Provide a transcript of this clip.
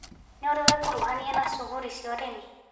Nĩũrĩ wekuruhania na cuguri cia ũrĩmi.